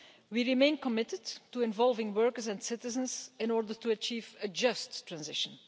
We remain committed to involving workers and citizens in order to achieve a just transition.